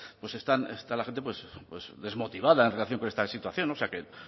pues está la gente desmotivada en relación con esta situación o sea que